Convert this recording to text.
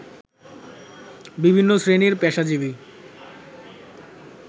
বিভিন্ন শ্রেণীর পেশাজীবী